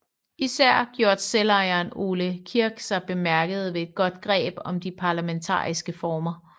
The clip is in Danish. Især gjorde selvejeren Ole Kirk sig bemærket ved et godt greb om de parlamentariske former